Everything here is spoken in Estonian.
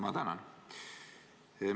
Ma tänan!